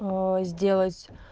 сделать